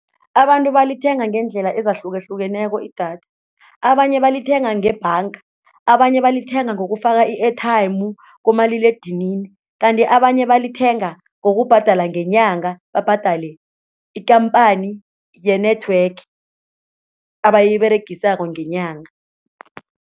Abantu balithenga ngeendlela ezahlukahlukeneko idatha, abanye balithenga ngebhanga, abanye balithenga ngokufaka i-airtime kumaliledinini, kanti abanye balithenga ngokubhadela ngenyanga babhadale ikhamphani ye-network abayiberegisako ngenyanga.